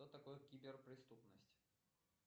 что такое киберпреступность